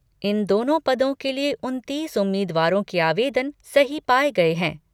इन दोनों पदों के लिए उनतीस उम्मीदवारों के आवेदन सही पाए गए हैं।